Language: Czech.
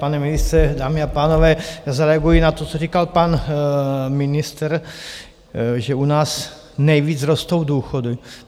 Pane ministře, dámy a pánové, zareaguji na to, co říkal pan ministr, že u nás nejvíc rostou důchody.